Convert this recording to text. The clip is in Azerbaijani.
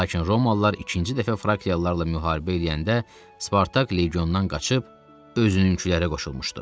Lakin Romalılar ikinci dəfə Frakialılarla müharibə eləyəndə Spartak legiondan qaçıb özünkülərə qoşulmuşdu.